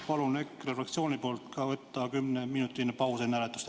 Palun EKRE fraktsiooni nimel teha enne hääletamist kümneminutiline paus.